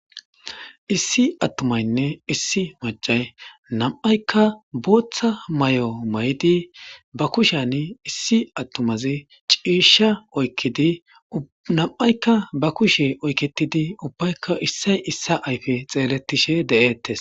Issi atumaynne issi macay nam'ayka botha mayo mayidi ba kushan issi atumazi cisha oykidi na'ayka ba oyketidi ubbayka issay issa xeletishe de'etes